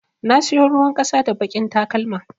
Na siyo ruwan ƙasa da baƙin talakma.